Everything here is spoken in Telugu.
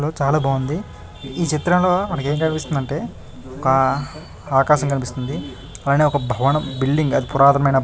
చాల బాగుంది ఈ చిత్రంలో మనకు ఏం కనిపిస్తుంది అంటే ఒక ఆకాశం కనిపిస్తుంది. పైన ఒక భవనం బిలిడింగ్ పురాతనమైన --